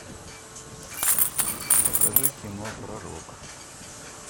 покажи кино пророк